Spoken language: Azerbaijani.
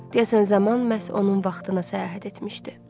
Deyəsən zaman məhz onun vaxtına səyahət etmişdi.